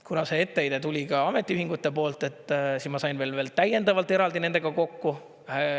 Kuna see etteheide tuli ka ametiühingute poolt, siis ma sain veel täiendavalt eraldi nendega kokku.